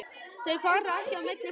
Þau fara ekki á milli frumna.